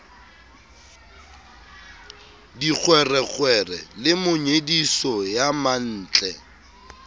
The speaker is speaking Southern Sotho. dikgwerekgwere le monyediso ya mantle